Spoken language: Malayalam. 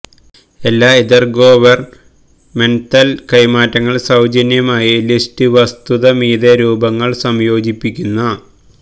എല്ലാ ഇംതെര്ഗൊവെര്ന്മെംതല് കൈമാറ്റങ്ങൾ സൌജന്യമായി ലിസ്റ്റ് വസ്തുത മീതെ രൂപങ്ങൾ സംയോജിപ്പിക്കുന്ന